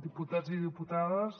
diputats i diputades